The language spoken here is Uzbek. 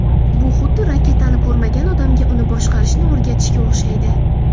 Bu xuddi raketani ko‘rmagan odamga uni boshqarishni o‘rgatishga o‘xshaydi.